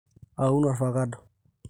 aaun olvakado